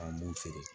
An b'u feere